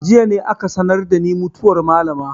Jiya ne aka sanar da ni mutuwar malama.